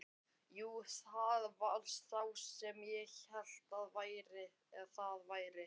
Jú, það var sá sem ég hélt að það væri!